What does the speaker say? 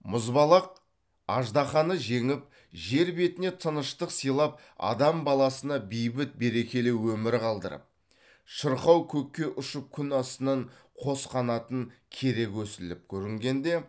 мұзбалақ аждаһаны жеңіп жер бетіне тыныштық сыйлап адам баласына бейбіт берекелі өмір қалдырып шырқау көкке ұшып күн астынан қос қанатын кере көсіліп көрінгенде